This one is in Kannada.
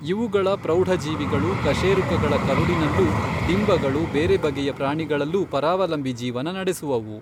ಇವುಗಳ ಪ್ರೌಢಜೀವಿಗಳು ಕಶೇರುಕಗಳ ಕರುಳಿನಲ್ಲೂ ಡಿಂಬಗಳು ಬೇರೆ ಬಗೆಯ ಪ್ರಾಣಿಗಳಲ್ಲೂ ಪರಾವಲಂಬಿ ಜೀವನ ನಡೆಸುವುವು.